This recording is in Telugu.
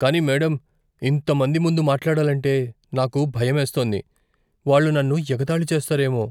కానీ మేడమ్, ఇంత మంది ముందు మాట్లాడాలంటే నాకు భయమేస్తోంది. వాళ్ళు నన్ను ఎగతాళి చేస్తారేమో.